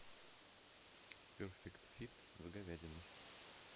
перфект фит с говядиной